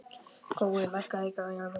Gói, lækkaðu í græjunum.